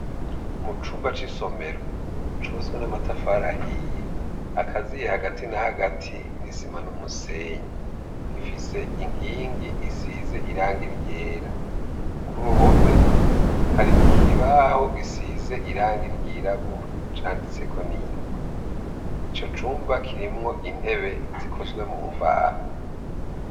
Mu cumba c'isomero cubatswe n'amatafari ahiye akaziye hagati na hagati n'isima n'umusenyi. Ifise inkingi zisize irangi ryera. Ku ruhome, hari ikibaho gisize irangi ryirabura, canditseko n'ingwa. Ico cumba kirimwo intebe zikozwe mu mbaho.